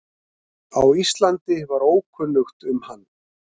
á Íslandi var ókunnugt um hann.